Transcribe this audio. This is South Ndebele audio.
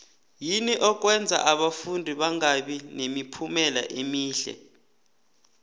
yini okwenza abafundi bangabi nemiphumela emihle